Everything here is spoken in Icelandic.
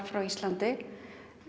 frá Íslandi